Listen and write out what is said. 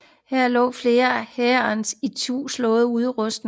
Her lå flere hæres ituslåede udrustning